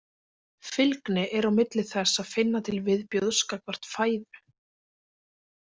Fylgni er á milli þess að finna til viðbjóðs gagnvart fæðu.